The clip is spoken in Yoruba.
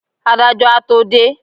adájọ a to dé